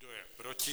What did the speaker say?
Kdo je proti?